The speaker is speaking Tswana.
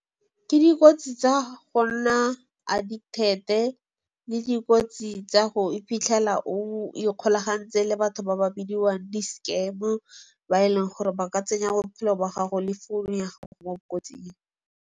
Ke dikotsi tsa go nna addicted-e le dikotsi tsa go iphitlhela o ikgolagantse le batho ba ba bidiwang di-scam-o. Ba e leng gore ba ka tsenya bophelo ba gago le founu ya gago mo kotsing.